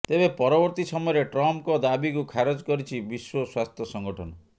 ତେବେ ପରବର୍ତ୍ତୀ ସମୟରେ ଟ୍ରମ୍ପଙ୍କ ଦାବିକୁ ଖାରଜ କରିଛି ବିଶ୍ୱ ସ୍ୱାସ୍ଥ୍ୟ ସଂଗଠନ